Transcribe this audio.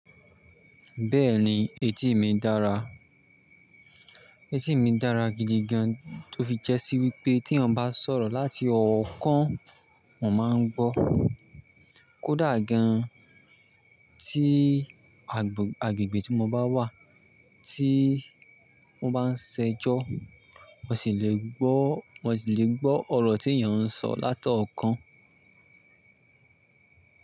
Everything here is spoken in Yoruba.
Bẹ́ẹ̀ni etí mi dára. Etí mi dára gidigan tó fi jẹ́ sí wípé tí ẹ̀yàn bá sọ̀rọ̀ láti ọ̀ọ́kán mo máa ń gbọ́. Kódà gan tí agbègbè tí mo bá wà tí wọ́n bá ń ṣẹjọ́ mo sì lè gbọ́, mo sì lè gbọ́ ọ̀rọ̀ tí èyàn ń sọ látọ̀ọ́kán.